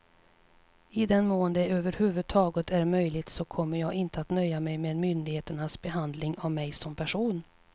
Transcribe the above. I den mån det över huvud taget är möjligt så kommer jag inte att nöja mig med myndigheternas behandling av mig som person.